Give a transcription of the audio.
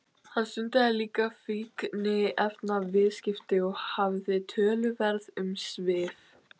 Hann stundaði líka fíkniefnaviðskipti og hafði töluverð umsvif.